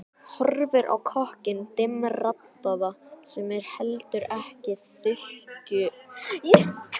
Horfir á kokkinn dimmraddaða sem er heldur en ekki þykkjuþungur.